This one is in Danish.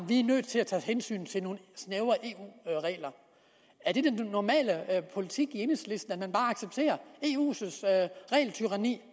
vi er nødt til at tage hensyn til nogle snævre eu regler er det den normale politik i enhedslisten at man bare accepterer eus regeltyranni